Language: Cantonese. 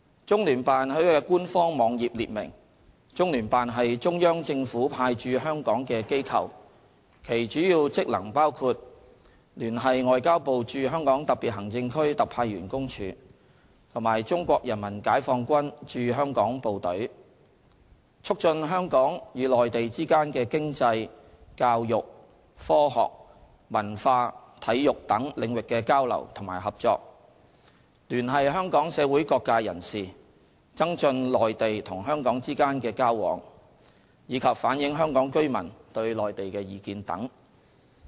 中聯辦在其官方網頁列明，中聯辦是中央政府派駐香港的機構，其主要職能包括：聯繫外交部駐香港特別行政區特派員公署和中國人民解放軍駐香港部隊；促進香港與內地之間的經濟、教育、科學、文化、體育等領域的交流與合作；聯繫香港社會各界人士，增進內地與香港之間的交往；以及反映香港居民對內地的意見等。